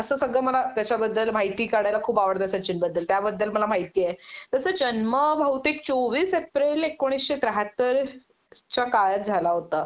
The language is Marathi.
असं सगळं मला त्याच्याबद्दल माहिती काढायला खूप आवडत सचिनबद्दल त्याबद्दल मला माहिती आहे त्याचा जन्म बहुतेक चोवीस एप्रिल एकोणीशे त्याहत्तर च्या काळात झाला होता